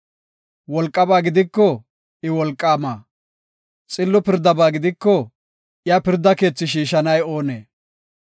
Wolqaba gidiko, I wolqaama. Xillo pirdaba gidiko, iya pirda keethi shiishanay oonee?